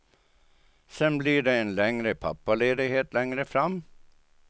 Sen blir det en längre pappaledighet längre fram.